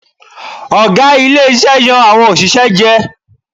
Ọ̀gá ilé iṣẹ́ yan àwọn òṣìṣẹ́ jẹ.